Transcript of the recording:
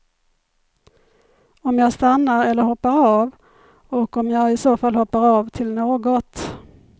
Om jag stannar eller hoppar av och om jag i så fall hoppar av till något.